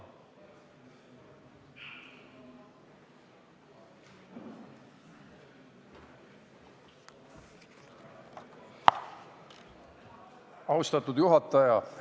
Austatud juhataja!